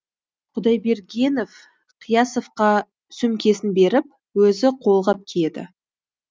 құдайбергенов қиясовқа сөмкесін беріп өзі қолғап киеді